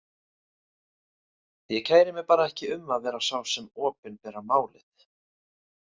Ég kæri mig bara ekki um að vera sá sem opinberar málið.